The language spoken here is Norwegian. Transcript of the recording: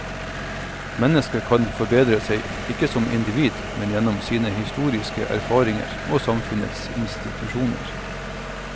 Mennesket kan forbedre seg, ikke som individ, men gjennom sine historiske erfaringer og samfunnets institusjoner.